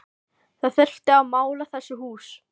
Það þyrfti að mála þessi hús